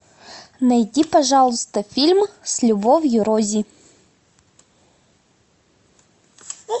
найди пожалуйста фильм с любовью рози